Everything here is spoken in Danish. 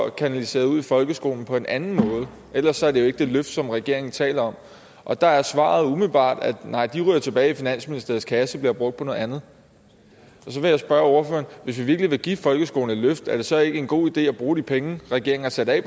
kanaliseret ud i folkeskolen på en anden måde for ellers er det jo ikke det løft som regeringen taler om og der er svaret umiddelbart nej de ryger tilbage i finansministeriets kasse og bliver brugt på noget andet så vil jeg spørge ordføreren hvis vi virkelig vil give folkeskolen et løft er det så ikke en god idé at bruge de penge regeringen har sat af